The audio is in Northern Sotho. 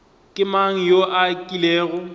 ke mang yo a kilego